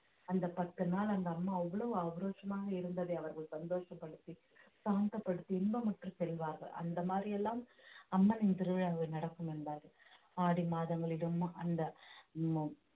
அந்த பத்து நாள் அந்த அம்மா அவ்வளவு ஆக்ரோஷமாக இருந்ததை அவர்கள் சந்தோஷப்படுத்தி சாந்தப்படுத்தி இன்பமுற்று செல்வார்கள் அந்த மாதிரி எல்லாம் அம்மனின் திருவிழாவில் நடக்கும் என்பார்கள் ஆடி மாதங்களிலும் அந்த